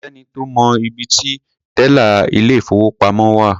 Kò sẹ́ni tó mọ ibi ti tẹ́là ilé-ìfowópamọ́ wà.